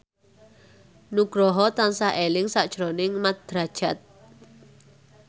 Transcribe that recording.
Nugroho tansah eling sakjroning Mat Drajat